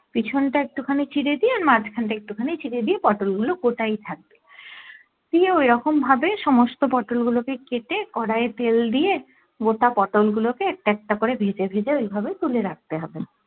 পিছনটা একটু খানি চিরে দিয়ে আর মাঝখান টা একটু খানি চিরে দিয়ে পটোল গুলো গোটাই থাকবে দিয়ে ওরকম ভাবে সমস্ত পটোল গুলো কে কেটে কড়াইয়ে তেল দিয়ে গোটা পটোল গুলো কে একটা একটা করে ভেজে ভেজে ওই ভাবে তুলে রাখতে হবে